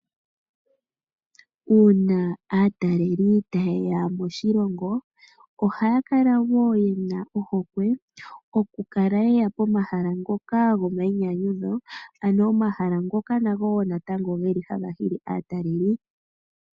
Uuna aataleli ta yeya moshilongo ohaya kala wo yena ohokwe okukala yeya po mahala ngoka go mayinyanyutho ano omahala ngoka nango natango geli hanga hili aataleli.